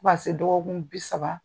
Fo ka se dɔgɔkun bi saba